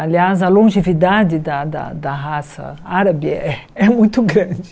Aliás, a longevidade da da da raça árabe é muito grande.